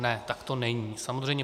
Ne, tak to není samozřejmě.